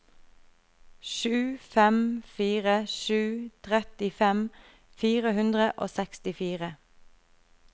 sju fem fire sju trettifem fire hundre og sekstifire